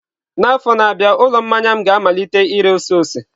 N'afọ na-abịa, ụlọ mmanya m ga-amalite ire ose ose.